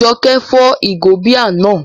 Jọkẹ́ fọ́ ìgò bíà náà